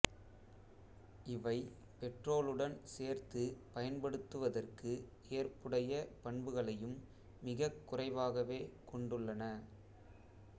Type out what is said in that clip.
இவை பெட்ரோலுடன் சேர்த்து பயன்படுத்துவதற்கு ஏற்புடைய பண்புகளையும் மிகக்குறைவாகவே கொண்டுள்ளன